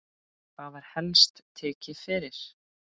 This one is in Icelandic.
Hvað var helst tekið fyrir?